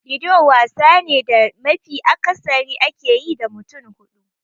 Ludo wasa ne da mafi akasari ake yi da mutum hudu.